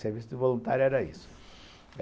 Serviço de voluntário era isso.